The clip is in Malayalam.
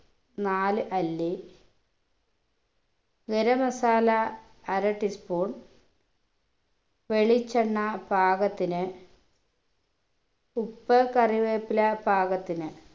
നാല് അല്ലി ഗരം masala അര tea spoon വെളിച്ചെണ്ണ പാകത്തിന് ഉപ്പ് കറിവേപ്പില പാകത്തിന്